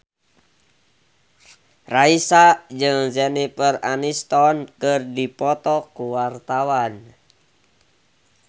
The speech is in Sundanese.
Raisa jeung Jennifer Aniston keur dipoto ku wartawan